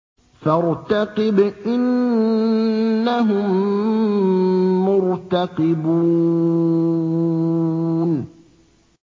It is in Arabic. فَارْتَقِبْ إِنَّهُم مُّرْتَقِبُونَ